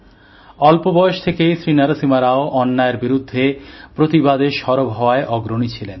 অল্পবয়স থেকেই শ্রীনরসিমা রাও অন্যায়ের বিরুদ্ধে প্রতিবাদে সরব হওয়ার অগ্রণী ছিলেন